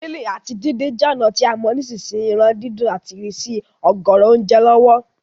Grilling áti díndin je ònà to a mo nisínsìn yìí ran dídún àti ìsrísí ọ̀gọ̀rọ̀ ounje lọ̀wọ̀